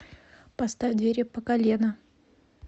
поставь двери пакалена